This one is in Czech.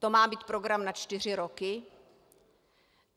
To má být program na čtyři roky?